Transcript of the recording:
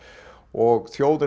og þjóðin